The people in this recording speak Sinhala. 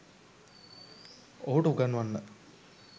ඔහුට උගන්වන්න.